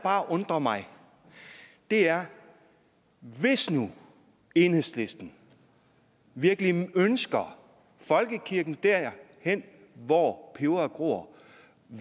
bare undrer mig er hvis nu enhedslisten virkelig ønsker folkekirken derhen hvor peberet gror